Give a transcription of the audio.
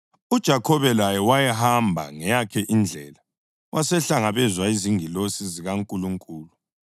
UJakhobe laye wahamba ngeyakhe indlela, wasehlangabezwa yizingilosi zikaNkulunkulu.